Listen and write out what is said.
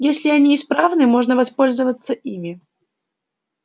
если они исправны можно воспользоваться ими